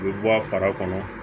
U bɛ bɔ a fara kɔnɔ